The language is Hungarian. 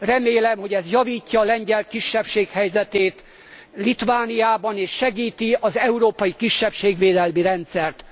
Remélem, hogy ez javítja a lengyel kisebbség helyzetét Litvániában és segíti az európai kisebbségvédelmi rendszert.